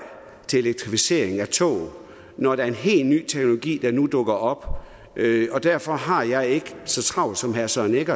til unødig elektrificering af tog når der er en helt ny teknologi der nu dukker op og derfor har jeg ikke så travlt som herre søren egge